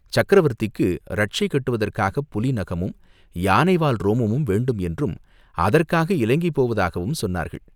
சக்கரவர்த்திக்கு ரட்சை கட்டுவதற்காகப் புலி நகமும், யானை வால் ரோமமும் வேண்டும் என்றும், அதற்காக இலங்கை போவதாகவும் சொன்னார்கள்.